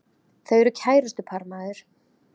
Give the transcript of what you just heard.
Þau eru kærustupar maður!